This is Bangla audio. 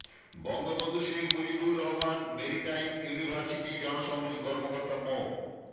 বঙ্গবন্ধু শেখ মুজিবুর রহমান মেরিটাইম ইউনিভার্সিটির জনসংযোগ কর্মকর্তা মো